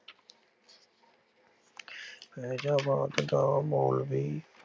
ਫੈਜ਼ਾਬਾਦ ਦਾ ਮੌਲਵੀ